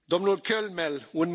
Herr Präsident!